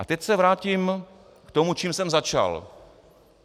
A teď se vrátím k tomu, čím jsem začal.